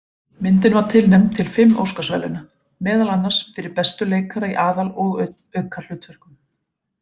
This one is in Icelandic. Myndin var tilnefnd til fimm Óskarsverðlauna, meðal annars fyrir bestu leikara í aðal- og aukahlutverkum.